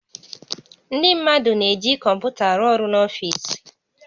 Ndị mmadụ na-eji kọmputa arụ ọrụ n'ọfiisi